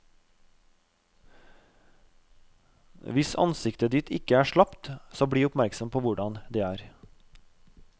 Hvis ansiktet ditt ikke er slapt, så bli oppmerksom på hvordan det er.